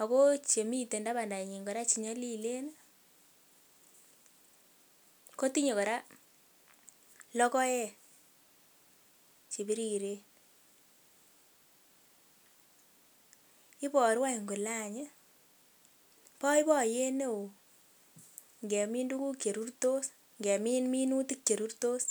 ak ko chemiten tabandanyin kora chenyolilen kotinye kora lokoek chebiriren, iboru any kolee any ii, boiboiyet neoo ingemin tukuk cherurtos, ingemin minutik cherurtos.